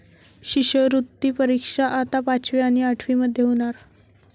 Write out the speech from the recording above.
शिष्यवृत्ती परीक्षा आता पाचवी आणि आठवीमध्ये होणार!